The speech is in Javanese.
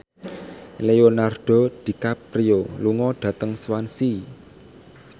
Leonardo DiCaprio lunga dhateng Swansea